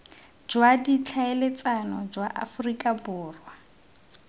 jwa ditlhaeletsano jwa aforika borwa